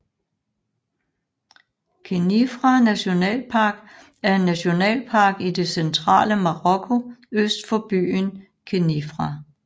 Khenifra National Park er en nationalpark i det centrale Marokko øst for byen Khenifra